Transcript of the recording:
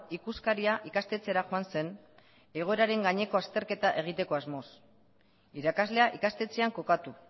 ikuskaria ikastetxera joan zen egoeraren gaineko azterketa egiteko asmoz irakaslea ikastetxean kokatu